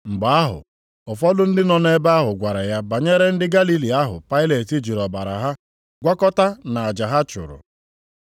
Mgbe ahụ, ụfọdụ ndị nọ nʼebe ahụ gwara ya banyere ndị Galili ahụ Pailet jiri ọbara ha gwakọta nʼaja ha chụrụ.